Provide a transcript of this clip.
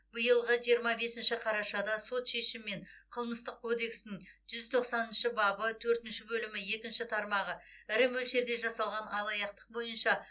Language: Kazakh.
биылғы жиырма бесінші қарашада сот шешімімен қылмыстық кодекстің жүз тоқсаныншы бабы төртінші бөлімі екінші тармағы ірі мөлшерде жасалған алаяқтық бойынша